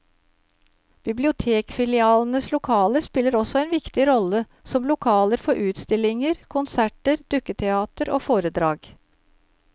Bibliotekfilialenes lokaler spiller også en viktig rolle som lokaler for utstillinger, konserter, dukketeater og foredrag.